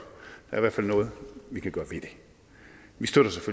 der er i hvert fald noget vi kan gøre